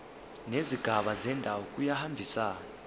nezigaba zendaba kuyahambisana